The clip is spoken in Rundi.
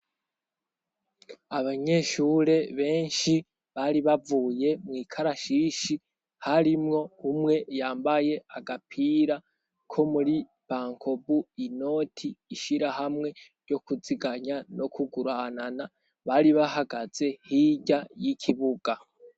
Abanyeshure benshi bari bavuye mu ikarashishi harimwo umwe yambaye agapira ko muri bankobu inoti ishira hamwe yo kuziganya no kuguranana bari bahagaze hirya y'ikibuga.